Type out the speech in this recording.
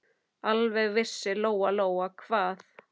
Alveg vissi Lóa-Lóa hvað